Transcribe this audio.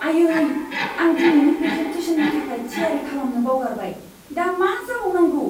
आयै! आं दिनैनि प्रेजेन्टेशननि थाखाय थियारि खालामनो बावगारबाय। दा मा जाबावनांगौ!